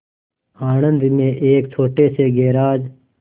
आणंद में एक छोटे से गैराज